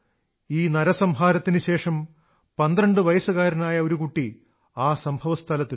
ഈ നരസംഹാരത്തിനുശേഷം പന്ത്രണ്ടുവയസ്സുകാരനായ ഒരു കുട്ടി ആ സംഭവസ്ഥലത്തെത്തി